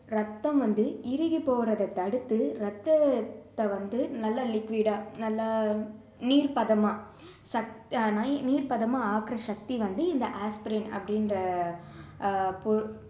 ரத்தம் வந்து இறுகி போறதை தடுத்து ரத்தத்தை வந்து நல்ல liquid டா நல்ல நீர்பதமா சக்~ அஹ் நீ~ நீர்பதமா ஆக்குற சக்தி வந்து இந்த ஆஸ்பரின் அப்படின்ற ஆஹ் பொ~